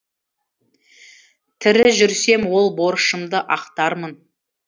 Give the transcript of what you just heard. тірі жүрсем ол борышымды ақтармын